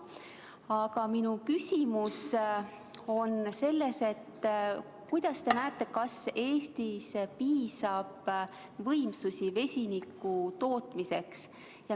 Aga minu küsimus on see, et mis te arvate, kas Eestis on piisav võimekus vesiniku tootmiseks.